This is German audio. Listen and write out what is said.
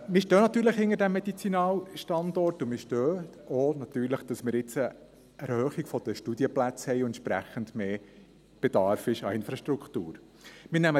Wir stehen natürlich hinter diesem Medizinalstandort und wir stehen natürlich auch dazu, dass wir jetzt eine Erhöhung der Studienplätze haben und entsprechend mehr Bedarf an Infrastruktur besteht.